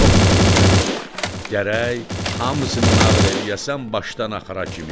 Yox Novruzəli, gərək hamısını nağıl eləyəsən başdan axıra kimi.